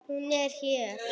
Hún er hér.